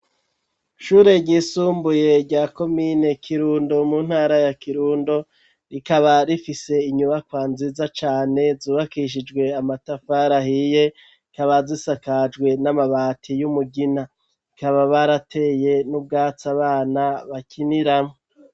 Ishure ryisumbuye rya komine kirundo mu ntara ya Kirundo rikaba rifise inyubakwa nziza cane zubakishijwe amatafari ahiye hakaba zisakajwe n'amabati y'umugina bikaba barateye n'ubwatsi abana bakiniramwo.